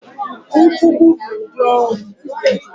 Nkwùgbù bụ ụdị ọnwụ